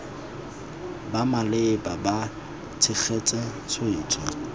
bo maleba bo tshegetsa tshwetso